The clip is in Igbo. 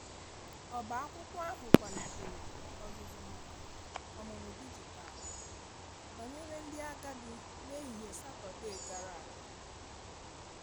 ọba akwụkwo ahu kwalitere ozuzu maka ọmụmụ dịjịtalụ banyere ndi agadi n'ehihie satọde gara aga.